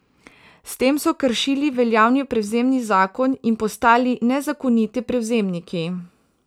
S tem so kršili veljavni prevzemni zakon in postali nezakoniti prevzemniki.